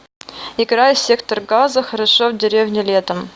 играй сектор газа хорошо в деревне летом